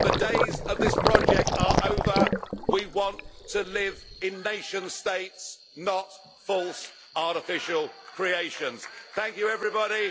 The days of this project are over. We want to live in nation states, not false artificial creations. Thank you everybody.